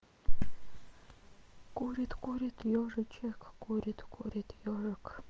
курит курит ежичек курит курит ёжик